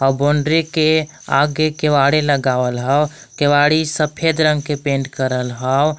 Boundary के आगे केवाड़ी लगावल ह केवाड़ी सफेद रंग के पेंट करल हव।